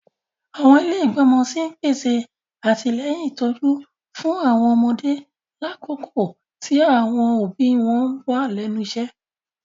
Àwọn ilé igbọmọ sí n pèsè atilẹyin ìtójú fún àwọn ọmọdé lakoko ti àwọn òbí wọn wa lẹ́nu iṣẹ.